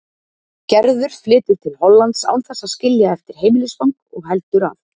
Gerður flytur til Hollands án þess að skilja eftir heimilisfang og heldur að